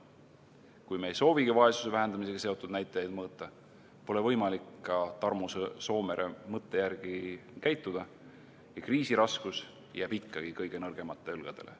Kui me ei soovigi vaesuse vähendamisega seotud näitajaid mõõta, pole võimalik ka Tarmo Soomere mõtte järgi käituda ja kriisi raskus jääb ikkagi kõige nõrgemate õlgadele.